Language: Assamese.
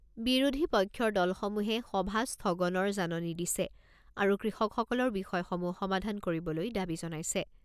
বিৰোধী পক্ষৰ দলসমূহে সভা স্থগনৰ জাননী দিছে আৰু কৃষকসকলৰ বিষয়সমূহ সমাধান কৰিবলৈ দাবী জনাইছে।